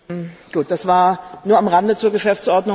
Das war nur am Rande zur Geschäftsordnung.